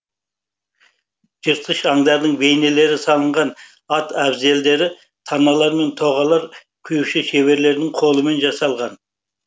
жыртқыш аңдардың бейнелері салынған ат әбзелдері таналар мен тоғалар құюшы шеберлердің қолымен жасалған